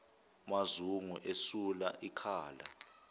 mazungu esula ikhala